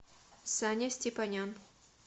саня степанян